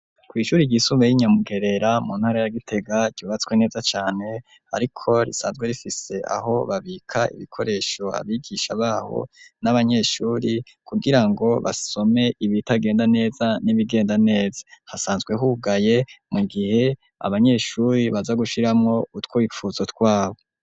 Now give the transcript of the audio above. Kw'ishuri ryisumbuye ry'i Nyamugerera mu ntara ya Gitega ryubatswe neza cane ariko risanzwe rifise aho babika ibikoresho abigisha baho n'abanyeshuri kugira ngo basome ibitagenda neza n'ibigenda neza. Hasanzwe hugaye mu gihe abanyeshuri baza gushiramwo utwifuzo twabo.